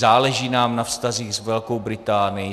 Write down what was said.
Záleží nám na vztazích s Velkou Británií.